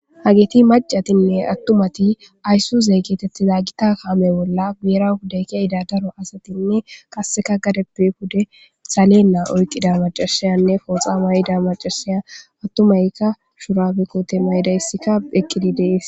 Hageti macatinne attumati aysso zeeggetetti za gita kaame bolla geera hudaykiya idadaro asatinne kasseka gadepbe hude salenna oyqida macashiyanne fooxa may7ida macashiya attumaykka shura bikote maydayssikka eqkidi dees